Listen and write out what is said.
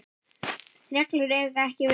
reglur eiga ekki við.